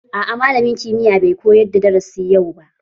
A'a malamin kimiyya bai koyar da darasin yau ba